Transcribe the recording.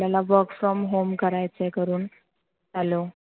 त्यांना work from home करायच आहे करुण hello